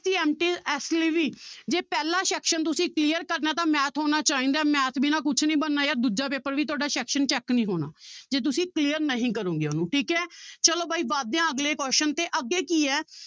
ਇਸ ਲਈ ਵੀ ਜੇ ਪਹਿਲਾਂ section ਤੁਸੀਂ clear ਕਰਨਾ ਹੈ ਤਾਂ math ਆਉਣਾ ਚਾਹੀਦਾ ਹੈ math ਬਿਨਾਂ ਕੁਛ ਨੀ ਬਣਨਾ ਯਾਰ ਦੂਜਾ ਪੇਪਰ ਵੀ ਤੁਹਾਡਾ section check ਨੀ ਹੋਣਾ ਜੇ ਤੁਸੀਂ clear ਨਹੀਂ ਕਰੋਂਗੇ ਉਹਨੂੰ ਠੀਕ ਹੈ ਚਲੋ ਬਾਈ ਵੱਧਦੇ ਹਾਂ ਅੱਗਲੇ question ਤੇ ਅੱਗੇ ਕੀ ਹੈ